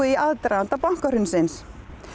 í aðdraganda bankahrunsins